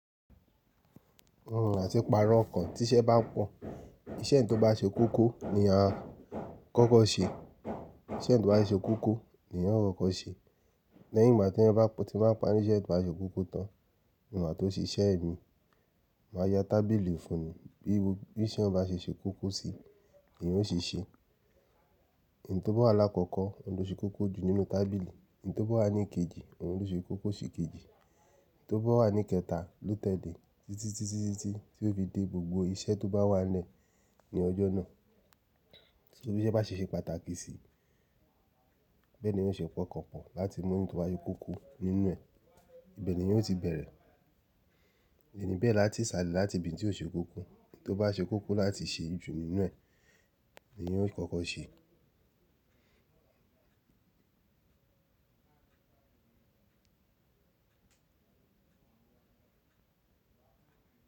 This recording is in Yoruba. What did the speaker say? Iránti pàrọ̀ kàn tí iṣẹ́ bá pọ̀. Iṣẹ́ tó bá ṣe kókó ni a kọ́kọ́ ṣe, iṣẹ́ tó bá ṣe kókó niyen kọ́kọ́ ṣe. Lẹ́yìn ìgbà tí eyan bá ti máa parí iṣẹ́ tó bá ṣe kókó tán, ni maà n tó ṣe iṣẹ́ mi, màá ya tábìlì fún ni, bí iṣẹ́ o bá ṣeṣe kókó sí i ni eyan o ṣeṣe. Eyi tó bá wà lákọ̀ọ̀kọ́, ohun ló ṣe kókó jù nínú tábìlì, eyi tó bá wà ní kejì, ohun tó ṣe kókó sí kejì, eyi tó bá wà ní kẹta, ló tẹ́lẹ̀, títí tí ó fi dé gbogbo iṣẹ́ tó bá wà lẹ́ ní ọjọ́ náà. Torí bí iṣẹ́ bá ṣe ṣe pàtàkì sí i, bẹ́ẹ̀ ni eyan ṣe po okan pọ̀ láti mú ohun tó bá je kókó nínú ẹ̀, ibẹ̀ ni wọn eyan ò ti bẹ̀rẹ̀. Ẹni bẹ́ẹ̀ la tí ì ṣàlẹ̀ láti ibi tí ó ṣe kókó, ohun tó bá ṣe kókó láti ṣe jù nínú ẹ̀ ni wọn yóò kọ́kọ́ ṣe.